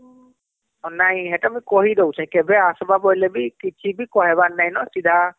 ନାଇଁ ହେଟା ମୁଁ କହୁ ଦଉଛେ କେବେ ଅସିବା ବୋଇଲେ ବି କିଛିବି କହିବାର ନାଇଁ ନ ସିଧା